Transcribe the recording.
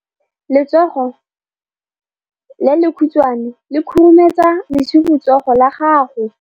Letsogo le lekhutshwane le khurumetsa lesufutsogo la gago.